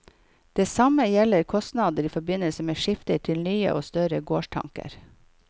Det samme gjelder kostnader i forbindelse med skifte til nye og større gårdstanker.